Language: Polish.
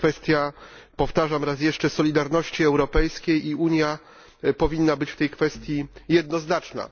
To jest kwestia powtarzam raz jeszcze solidarności europejskiej i Unia powinna być w tej kwestii jednoznaczna.